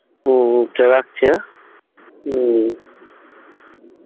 হম চ রাখছি হ্যাঁ হম